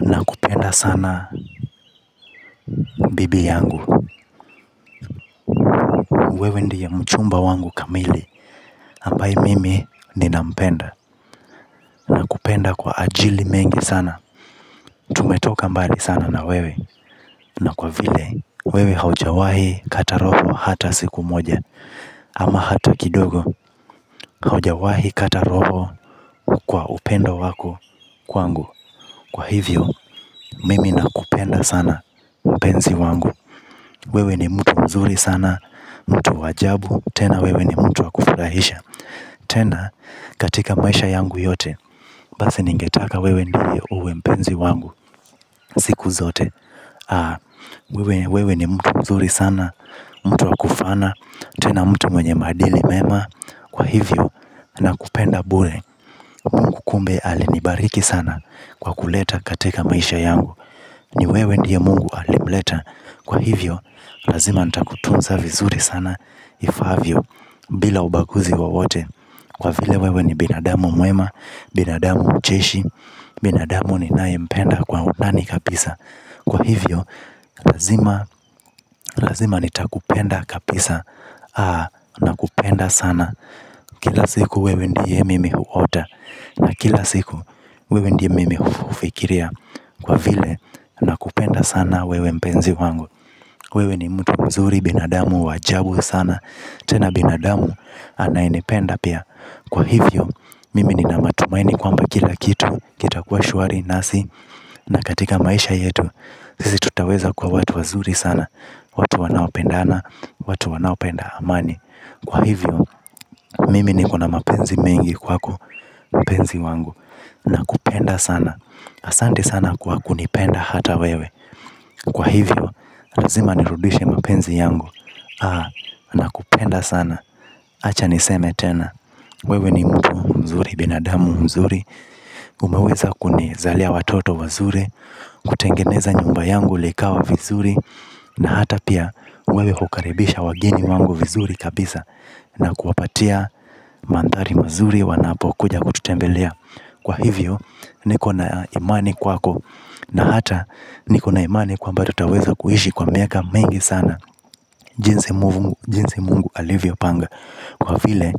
Nakupenda sana bibi yangu. Wewe ndiye mchumba wangu kamili ambaye mimi nina mpenda. Nakupenda kwa ajili mengi sana. Tumetoka mbali sana na wewe na kwa vile wewe haujawahi kata roho hata siku moja ama hata kidogo. Haujawahi kata roho kwa upendo wako kwangu kwa hivyo, mimi nakupenda sana mpenzi wangu. Wewe ni mtu mzuri sana. Mtu wa ajabu. Tena wewe ni mtu wa kufurahisha tena katika maisha yangu yote. Basi ningetaka wewe ndiye uwe mpenzi wangu siku zote. Wewe ni mtu mzuri sana. Mtu wakufana. Tena mtu mwenye madili mema kwa hivyo nakupenda bure. Mungu kumbe alinibariki sana kwa kuleta katika maisha yangu. Ni wewe ndiye mungu alimleta kwa hivyo lazima nitakutunza vizuri sana ifaavyo, bila ubaguzi wowote kwa vile wewe ni binadamu mwema. Binadamu mcheshi. Binadamu ninaye mpenda kwa undani kabisa kwa hivyo, lazima, lazima nitakupenda kabisa nakupenda sana. Kila siku wewe ndiye mimi huota na kila siku, wewe ndiye mimi hufikiria kwa vile, nakupenda sana wewe mpenzi wangu. Wewe ni mtu mzuri, binadamu wa ajabu sana. Tena binadamu, anayenipenda pia kwa hivyo, mimi nina matumaini kwamba kila kitu kitakuwa shwari, nasi, na katika maisha yetu sisi tutaweza kuwa watu wazuri sana watu wanaopendana watu wanaopenda amani kwa hivyo mimi nikona mapenzi mengi kwako mpenzi wangu, na kupenda sana. Asante sana kwa kunipenda hata wewe kwa hivyo, lazima nirudishe mapenzi yangu. Haa, nakupenda sana. Acha niseme tena, wewe ni mtu mzuri, binadamu mzuri, umeweza kunizalia watoto wazuri kutengeneza nyumba yangu likawa vizuri na hata pia wewe hukaribisha wageni wangu vizuri kabisa na kuwapatia mandhari mazuri wanapokuja kututembelea kwa hivyo nikona imani kwako na hata nikona imani kwamba tutaweza kuishi kwa miaka mengi sana. Jinsi mungu alivyo panga kwa vile